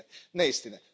neistine.